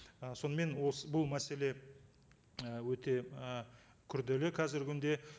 ы сонымен осы бұл мәселе і өте і күрделі қазіргі күнде